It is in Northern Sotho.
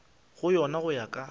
go yona go ya ka